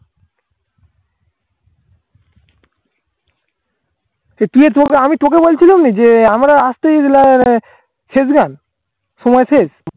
সে তুই তোকে আমি তোকে বলছিলুমনি যে আমরা আসতেই আহ Seasonal সময় শেষ